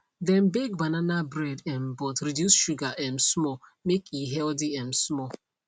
dem bake banana bread um but reduce sugar um small make e healthy um small